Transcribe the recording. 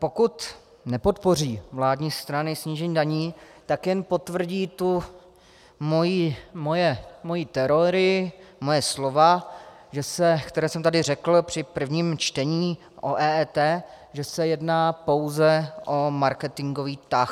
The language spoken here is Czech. Pokud nepodpoří vládní strany snížení daní, tak jen potvrdí tu moji teorii, moje slova, která jsem tady řekl při prvním čtení o EET, že se jedná pouze o marketingový tah.